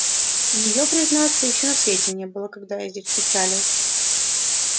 её признаться ещё на свете не было когда я здесь причалил